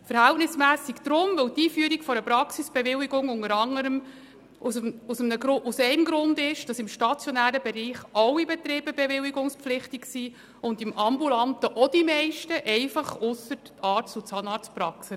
Verhältnismässig deshalb, weil im stationären Bereich alle Betriebe bewilligungspflichtig sind und im ambulanten Bereich die meisten, abgesehen von den Arzt- und Zahnarztpraxen.